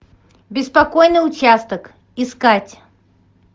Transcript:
беспокойный участок искать